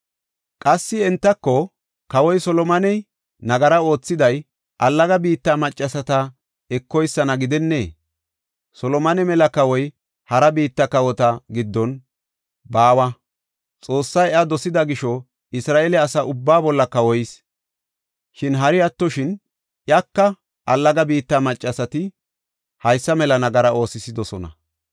Qassi entako, “Kawoy Solomoney nagara oothiday allaga biitta maccasata ekoysana gidennee? Solomone mela kawoy hara biitta kawota giddon baawa; Xoossay iya dosida gisho, Isra7eele asa ubbaa bolla kawoyis. Shin, hara attoshin iyaka allaga biitta maccasati haysa mela nagara oosisidosona.